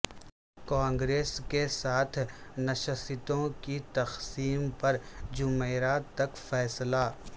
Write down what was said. کانگریس کے ساتھ نشستوں کی تقسیم پر جمعرات تک فیصلہ